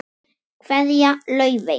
Kveðja, Laufey.